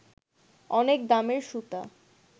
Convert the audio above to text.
অনেক দামের সুতা